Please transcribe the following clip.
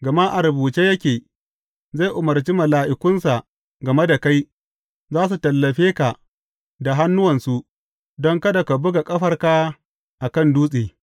Gama a rubuce yake, Zai umarci mala’ikunsa game da kai, za su tallafe ka da hannuwansu, don kada ka buga ƙafarka a kan dutse.’